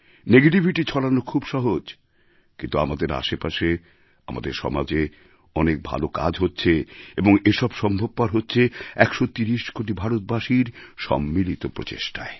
negativity ছড়ানো খুব সহজ কিন্তু আমাদের আশেপাশে আমাদের সমাজে অনেক ভালো কাজও হচ্ছে এবং এসব সম্ভবপর হচ্ছে ১৩০ কোটি ভারতবাসীর সম্মিলিত প্রচেষ্টায়